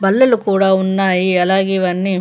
బల్లలు కూడా ఉన్నాయి అలాగే ఇవన్నీ --